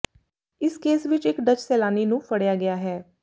ਇਸ ਕੇਸ ਵਿਚ ਇਕ ਡੱਚ ਸੈਲਾਨੀ ਨੂੰ ਫੜਿਆ ਗਿਆ ਹੈ